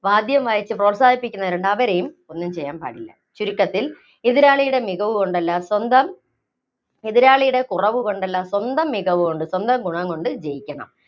വാദ്യവും വായിച്ച് പ്രോത്സാഹിപ്പിക്കുന്നവരുണ്ട്, അവരെയും ഒന്നും ചെയ്യാന്‍ പാടില്ല. ചുരുക്കത്തില്‍ എതിരാളിയുടെ മികവ് കൊണ്ടല്ല, സ്വന്തം, എതിരാളിയുടെ കുറവുകൊണ്ടല്ല, സ്വന്തം മികവുകൊണ്ട്, സ്വന്തം ഗുണം കൊണ്ട് ജയിക്കണം.